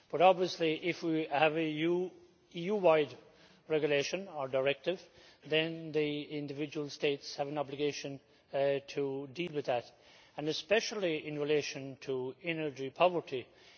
But obviously, if we have an EU wide regulation or directive, then the individual states have an obligation to deal with that and especially in relation to energy poverty.